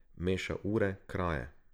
Meša ure, kraje.